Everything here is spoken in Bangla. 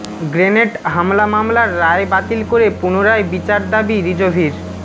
গ্রেনেড হামলা মামলার রায় বাতিল করে পুনরায় বিচার দাবি রিজভীর